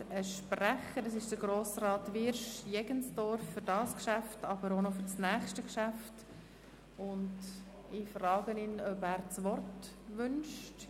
Der Kommissionssprecher für dieses sowie das nachfolgende Geschäft ist Grossrat Wyrsch.